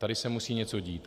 Tady se musí něco dít.